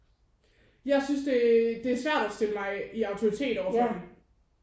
Jeg synes det det er svært at stille mig i autoritet over for dem